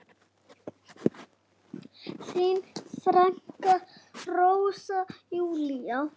Þín frænka, Rósa Júlía.